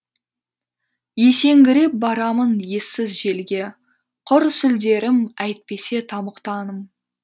есеңгіреп барамын ессіз желге құр сүлдерім әйтпесе тамұқтамын